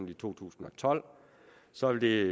i to tusind og tolv så vil